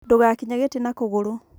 ndũgakinye gĩtĩ na kũgũrũ